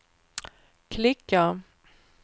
klicka